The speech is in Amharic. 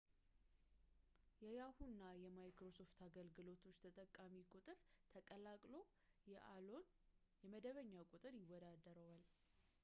የyahoo! እና microsoft አገልግሎቶች ተጠቃሚዎች ቁጥር ተቀላቅሎ የaolን የደንበኛ ቁጥር ይወዳደረዋል